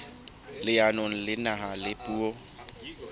leanong la naha la puo